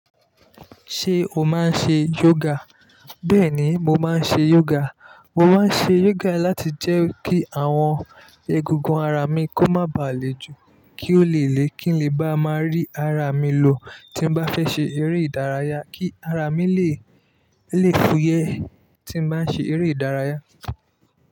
Ṣé o máa ń ṣe yoga? Bẹ́ẹ̀ni, mo máa ń ṣe yoga. Mo máa ń ṣe yoga láti jẹ́ kí àwọn egungun ara mi kó má ba à le ju, kí ó le le kín lè bá máa rí ara mi lo. Tí m bá fẹ́ ṣe eré ìdárayá, kí ara mi lè, lè fúyẹ́ tí m bá ń ṣe eré ìdárayá.